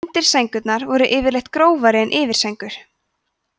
undirsængurnar voru yfirleitt grófari en yfirsængur